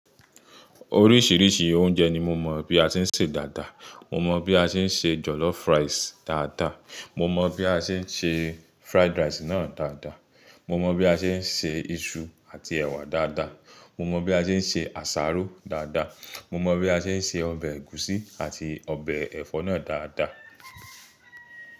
Oríṣìíríṣìí oúnjẹ ni mo mọ̀ bí a ṣe ń ṣe dáadáa. Mo mọ bí a ṣe ń ṣe jollof rice dáadáa, mo mọ bí a ṣe ń ṣe fried rice náà dáadáa. Mo mọ bí a ṣe ń se iṣu àti ẹ̀wà dáadáa, mo mọ bí a ṣe ń ṣe àsáró dáadáa. Mo mọ bí a ṣe ń ṣe ọbẹ̀ ẹ̀gúsí àti ọbẹ̀ ẹ̀fọ́ náà dáadáa.